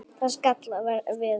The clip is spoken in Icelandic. Það skall á veður.